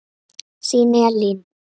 Þín Elín.